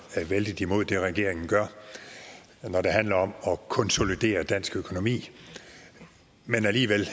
vældig meget imod det regeringen gør når det handler om at konsolidere dansk økonomi men alligevel